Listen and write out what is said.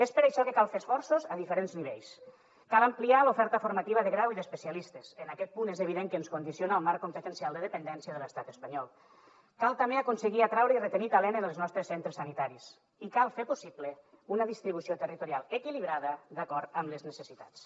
és per això que cal fer esforços a diferents nivells cal ampliar l’oferta formativa de graus i d’especialistes en aquest punt és evident que ens condiciona el marc competencial de dependència de l’estat espanyol cal també aconseguir atraure i retenir talent en els nostres centres sanitaris i cal fer possible una distribució territorial equilibrada d’acord amb les necessitats